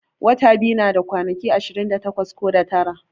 Watan biyu nada kwana ashirin da takwas ko da tara.